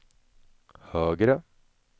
högre